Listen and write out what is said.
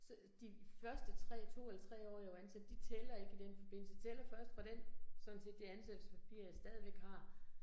Så de første 3, 2 eller 3 år jeg var ansat, de tæller ikke i den forbindelse, tæller første fra den, sådan set det ansættelsespapir, jeg stadigvæk har